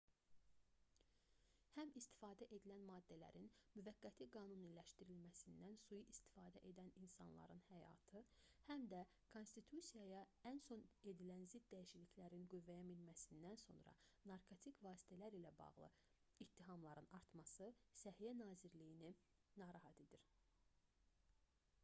həm istifadə edilən maddələrin müvəqqəti qanuniləşdirilməsindən sui istifadə edən insanların həyatı həm də konstitusiyaya ən son edilən zidd dəyişikliklərin qüvvəyə minməsindən sonra narkotik vasitələr ilə bağlı ittihamların artması səhiyyə nazirliyini narahat edir